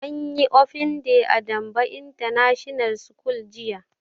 Anyi open day a danbo international school jiya